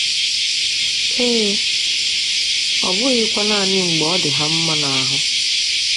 Ee, ọ bụghịkwa nanị mgbe ọ dị ha mma n’ahụ.